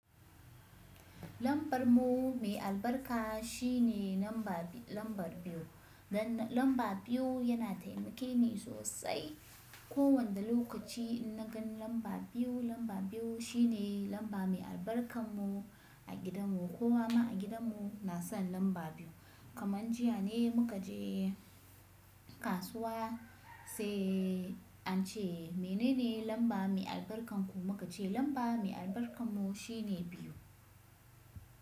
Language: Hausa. Lambar mu mai albarka shine lamba, lamba biyu. Gan lamba biyu yana taimake ni sosai. Ko wanda lokaci in na gan lamba biyu, lamba biyu shine lamba mai albarkar mu a gidan mu. Kowa ma a gidan mu na son lamba biyu. Kamar jiya ne muka je kasuwa sai an ce “menene lamba mai albarkar ku?” muka ce lamba mai albarkar mu shine biyu.